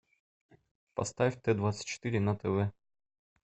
поставь т двадцать четыре на тв